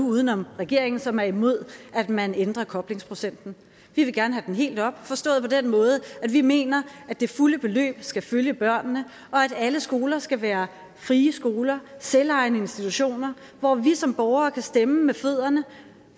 uden om regeringen som er imod at man ændrer koblingsprocenten vi vil gerne have den helt op forstået på den måde at vi mener at det fulde beløb skal følge børnene og at alle skoler skal være frie skoler selvejende institutioner hvor vi som borgere kan stemme med fødderne